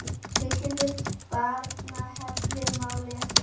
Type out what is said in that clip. Tilkynningu Barnaheilla má lesa hér